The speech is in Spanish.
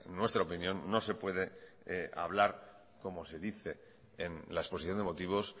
nuestra opinión no se puede hablar como se dice en la exposición de motivos